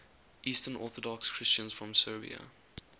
eastern orthodox christians from serbia